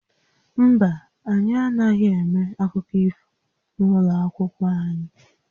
Mba, anyị anaghị eme akụkọ ifo n'ụlọ akwụkwọ anyị